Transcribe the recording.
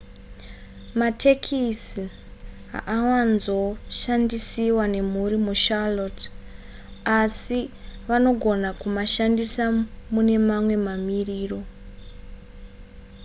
matekisi haawanzo kushandisiwa nemhuri mucharlotte asi vanogona kumashandisa mune mamwe mamiriro